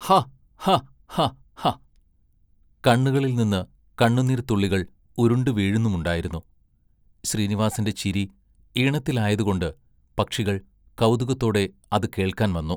ഹാ ഹാ ഹാ ഹാ... കണ്ണുകളിൽനിന്ന് കണ്ണുനീർത്തുള്ളികൾ ഉരുണ്ടുവീഴുന്നുമുണ്ടായിരുന്നു. ശ്രീനിവാസിൻ്റെ ചിരി ഈണത്തിലായതുകൊണ്ട് പക്ഷികൾ കൗതുകത്തോടെ അത് കേൾക്കാൻ വന്നു.